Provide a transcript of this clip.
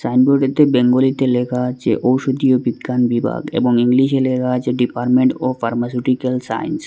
সাইনবোর্ডে তে বেঙ্গলিতে লেখা আছে ঔষুধি বিজ্ঞান বিভাগ এবং ইংলিশে লেখা আছে ডিপার্টমেন্ট অফ ফার্মাসিউটিক্যাল সাইন্স ।